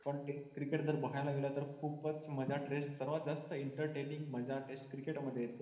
पण तेच cricket जर बघायला गेला तर खुपच मजा सर्वात जास्त entertaining मजा test cricket मध्ये येते.